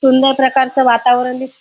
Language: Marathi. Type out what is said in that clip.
सुंदर प्रकारच वातावरण दिस --